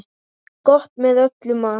Gott með öllum mat.